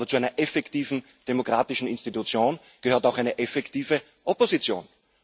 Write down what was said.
Aber zu einer effektiven demokratischen Institution gehört auch eine effektive Opposition.